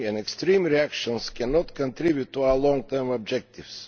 Extreme reactions cannot contribute to our long term objectives.